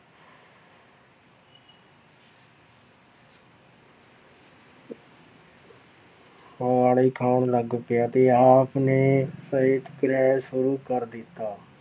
ਉਬਾਲੇ ਖਾਣ ਲੱਗ ਪਿਆ ਤੇ ਆਪ ਨੇ ਸ਼ੁਰੂ ਕਰ ਦਿੱਤਾ।